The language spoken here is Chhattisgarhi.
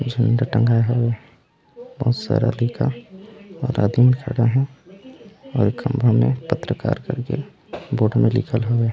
झण्डा टंगा हें बहुत सारा लिखा और आदमी मन खड़ा हे और ए खम्भा में पत्रकार कर के बोर्ड में लिखल हवे।